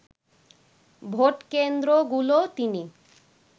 ভোটকেন্দ্রগুলো তিনি